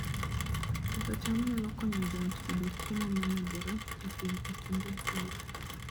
Pidho cham nyalo konyo joot yudo chiemo momedore e kinde oro